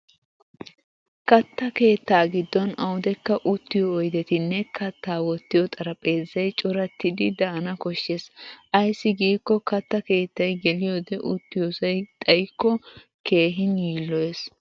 Katta kettaa giddon awudekka uttiyo oydettinne kattaa wottiyo xaraphpheezzay corattiddi daana koshshes. Ayssi giikko katta keettay geliyoode uttiyoosay xayikko keehin yiilloyes.